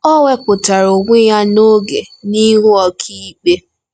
O wepụtara onwe ya n'oge n'ihu ọkàikpe.